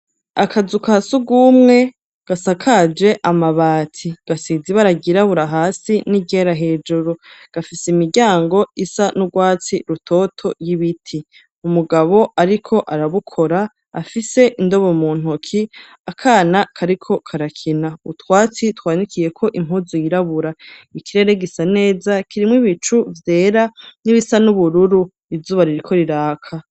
Akazu ka surwumwe, gasakaje amabati, gasize ibara ryirabura hasi n'iryera hejuru; gafise imiryango isa n'urwatsi rutoto, y'ibiti; umugabo ariko arabukora, afise indobo mu ntoki, akana kariko karakina, utwatsi twanikiyeko impuzu yirabura; ikirere gisa neza, kirimwo ibicu vyera n'ibisa n'ubururu, izuba ririko riraka.